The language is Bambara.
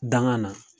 Danŋa na